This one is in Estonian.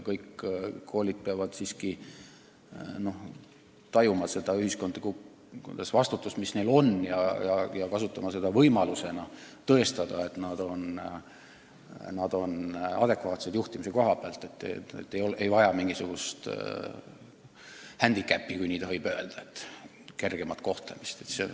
Kõik koolid peavad siiski tajuma ühiskondlikku vastutust, mis neil on, ja kasutama seda hindamist võimalusena tõestada, et nende juhtimistöö on hea ja nad ei vaja mingisugust händikäppi, kui nii tohib öelda, ehk kergemat kohtlemist.